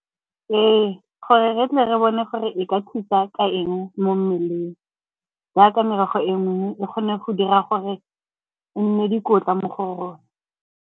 Ee, gore re tle re bone gore e ka thusa ka eng mo mmeleng jaaka merogo e nngwe e kgone go dira gore e nne dikotla mo go rona.